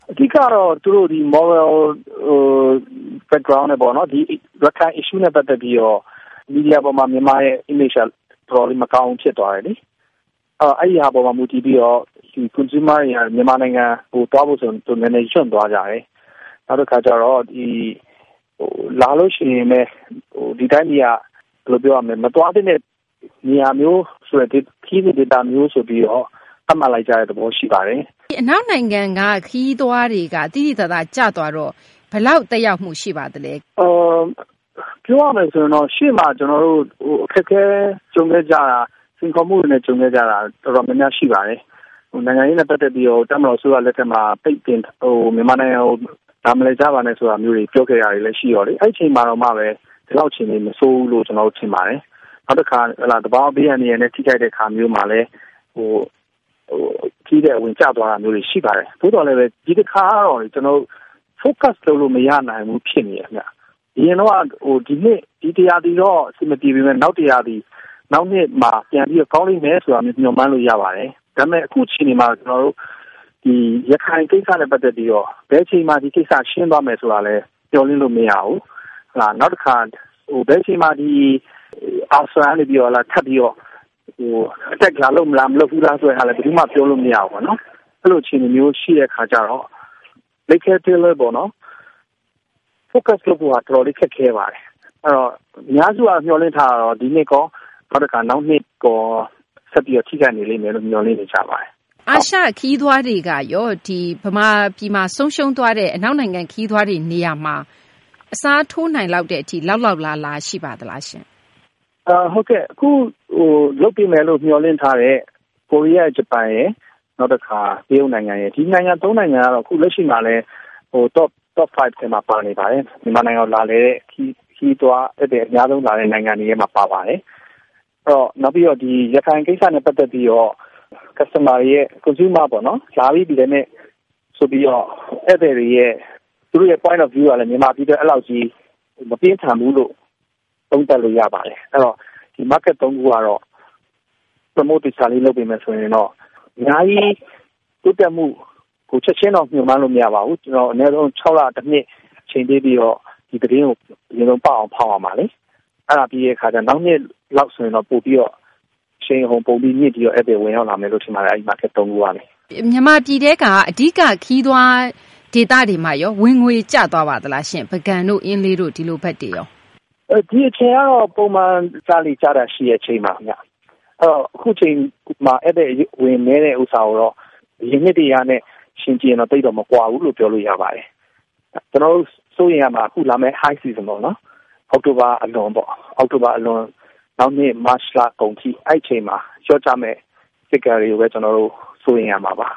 အဓိကတော့ သူတို့ ရခိုင်ကိစ္စနဲ့ ပတ်သက်ပြီးတော့ image က မကောင်းဘူးဖြစ်သွားတယ်။ အဲဒီအပေါ်မှာ မူတည်ပြီးတော့ ခရီးသွားတွေက မြန်မာနိုင်ငံသွားဖို့ဆိုရင် နည်းနည်းလေး တွန့်သွားကြတယ်။ နောက်တခါကျတော့ လာရင်လည်း ဒီတိုင်းပြည်က မသွားသင့်တဲ့ နေရာမျိုးခရီးစဉ်ဒေသဆိုပြီးတော့ သတ်မှတ်လိုက်တာရှိပါတယ်။ အနောက်နိုင်ငံက ခရီးသွားတွေက သိသိသာသာကျသွားတော့ ဘယ်လောက် သက်ရောက်မှုတွေ ရှိပါသလဲ။ ပြောရမယ်ဆိုရင် အရှေ့မှာကျနော်တို့ အခက်အခဲတွေ စိန်ခေါ်မှုတွေနဲ့ ကြုံခဲ့ကြတာ တော်တော်များများရှိတယ်။ နိုင်ငံရေးနဲ့ပတ်သက်ပြီးတော့ တပ်မတော်အစိုးရလက်ထက်မှာ ပိတ်ပင်တာ ၊ လာမလည်ကြပါနဲ့ဆိုပြီးတော့ ပြောတဲ့အခြေအနေတုန်းက ဒီလောက်မဆိုးဘူးလို့ ထင်တယ်။ နောက်တခါ သဘာဝဘေးအန္တရာယ်နဲ့ ထိခိုက်တာမျိုးမှာလည်း ခရီးသည်တွေ အဝင် ကျသွားတာရှိပါတယ်။ သို့သော်ဒီတခါကတော့ Focus လုပ်လို့မရဘူးဖြစ်နေတယ်။ အရင်တုန်းက ဒီနှစ် ဒီ ရာသီတော့ အဆင်မပြေပေမယ့် နောက်ရာသီနောက်နှစ်မှာပြန်ပြီးတော့ ကောင်းလိမ့်မယ်လို့ မျှော်မှန်းလို့ရပါတယ်။ ဒါပေမယ့် အခု အခြေအနေမှာတော့ ရခိုင်ကိစ္စနဲ့ ပတ်သက်ပြီး ဘယ်အချိန်မှာ ဒီကိစ္စရှင်းသွားမယ်ဆိုတာလည်း မျှော်လင့်လို့မရဘူး နောက်တခါ ဘယ်အချိန်မှာ ARSA ကနေပြီးတော့ ထပ်ပြီးတော့ Attack လာလုပ်မလား မလုပ်ဘူးလားဆိုတာလည်း ပြောလို့မရဘူး။ အဲလိုအခြေအနေမျိုးရှိတဲ့အခါကျတော့ Focus လုပ်ဖို့ တော်တော်လေးခက်ခဲပါတယ်။ အများစုက မျှော်လင့်ထားတာကတော့ ဒီနှစ်ရော နောက်တခါ နောက်နှစ်ရောက ဆက်ပြီးတော့ ထိခိုက်နေမယ်လို့ မျှော်လင့်နေပါတယ်။ အာရှခရီးသွားတွေကရော မြန်မာနိုင်ငံမှာ ဆုံးရှုံးသွားတဲ့ အနောက်နိုင်ငံ ခရီးသွားတွေ နေရာမှာ အစားထိုးနိုင်လောက်တဲ့အထိ လောက်လောက်လားလားရှိပါသလား။ အခုလုပ်ပေးမယ်လို့ မျှော်လင့်ထားတဲ့ ကိုရီးယား၊ ဂျပန်၊ တရုတ် ဒီနိုင်ငံ ၃ ခုကတော့ အခုလက်ရှိမှာ Top 5 ထဲမှာ ပါနေပါတယ်။ မြန်မာနိုင်ငံကိုလာလည်တဲ့ ခရီးသွားအများဆုံးနိုင်ငံထဲမှာပါတယ်။ နောက်ပြီးတော့ ဒီရခိုင်ကိစ္စနဲ့ ပတ်သက်ပြီးတော့ Customer တွေ consumer တွေ ၊ လာပြီးတဲ့ ဧည့်သည်တွေရဲ့ Point of view ကတော့ အဲလောက်ကြီးမပြင်းထန်ဘူးလို့ သုံးသပ်လို့ရပါတယ်။ အဲဒီတော့ ဒီ Market ၃ ခုကတော့ သေချာလေးလုပ်ပေးရင်တော့ အများကြီးတိုးတက်မှုရှိမယ်။ ချက်ချင်းတော့ မျှော်မှန်းလို့မရပါဘူး။ ကျနော်တို့ အနည်းဆုံး ၆ လ ၊ ၁ နှစ် အချိန်ပေးပြီးတော့ဒီလမ်းကြောင်းကို ရအောင်ဖောက်ရမှာလေ ။ အဲဒါပြီးတဲ့အခါကျတော့ နောက်နှစ်လောက်ဆိုရင်တော့ အရှိန်အဟုန်ပိုမြှင့်ပြီးတော့ ဧည့်သည်ပိုဝင်လာမယ်လို့ထင်တယ် ဒီ Market ၃ ခုကနေ။ မြန်မာပြည်ထဲက အဓိက ခရီးသွားဒေသတွေမှာရော ဝင်ငွေကျသွားသလား။ ပုဂံတို့၊ အင်းလေးတို့ ဒီလိုဘက်တွေရော။ ဒီအချိန်ကတော့ ပုံမှန်ကျလေ့ကျထရှိတဲ့အချိန်ပါခင်ဗျ။ အခုအချိန်မှာ ဧည့်သည်အဝင်နည်းတဲ့ဟာတော့ အရင်နှစ်တွေကနဲ့ ယှဉ်ကြည့်ရင်တော့ မကွာဘူးလို့ပြောလို့ရပါတယ်။ ကျနော်တို့စိုးရိမ်ရမှာကတော့ ဒီ High Season ၊ အောက်တိုဘာအလွန် နောက်နှစ်မတ်လကုန်အထိ အဲဒီအချိန်မှာလျော့ကျမယ့် Figure တွေပဲ ကျနော်တို့ စိုးရိမ်ရမှာပါ